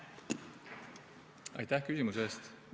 Aitäh küsimuse eest!